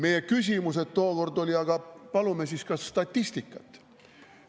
Meie küsimused tookord olid, et aga palume siis ka statistikat.